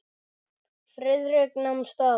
Friðrik nam staðar.